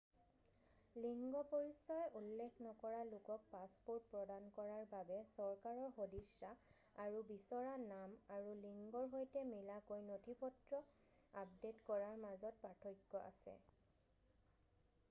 লিংগ পৰিচয় উল্লেখ নকৰা x লোকক পাছপ'ৰ্ট প্ৰদান কৰাৰ বাবে চৰকাৰৰ সদিচ্ছা আৰু বিচৰা নাম আৰু লিংগৰ সৈতে মিলাকৈ নথিপত্ৰ আপডে'ট কৰাৰ মাজত পাৰ্থক্য আছে।